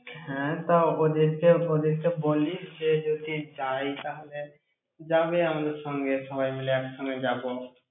হ্যাঁ, তা ওদেরকে বলিস বলিস যে যদি যায়, তাহলে যাবে আমাদের সঙ্গে সবাই মিলে একসঙ্গে যাবো।